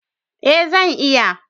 Eh zan iya.